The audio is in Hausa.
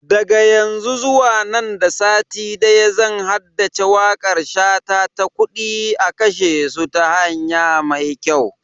Daga yanzu zuwa nan da sati daya zan haddace wakar shata ta "Kudi a kashe su ta hanya mai kyau"